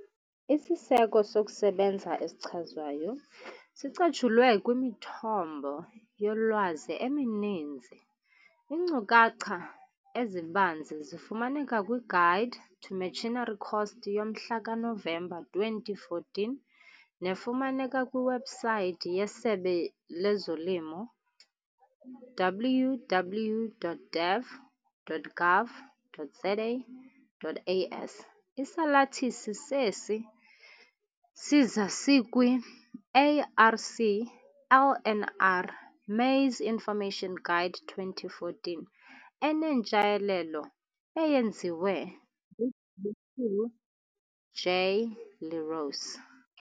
Isiseko sokusebenza esichazwayo sicatshulwe kwimithombo yolwazi emininzi, iinkcukacha ezibanzi zifumaneka "kwi-Guide to Machinery Costs" yomhla kaNovemba 2014 nefumaneka kwiwebhusayithi yeSebe lezoLimo, www.daff.gov.za.as. Isalathisi sesi siza, sikwi-ARC-LNR Maize Information Guide 2014 enentshayelelo eyenziwe nguGq J Le Roux.